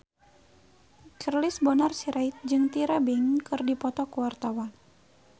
Charles Bonar Sirait jeung Tyra Banks keur dipoto ku wartawan